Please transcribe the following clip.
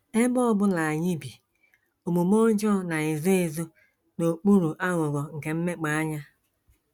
Ebe ọ bụla anyị bi, omume ọjọọ na - ezo - ezo n’okpuru aghụghọ nke mmepeanya.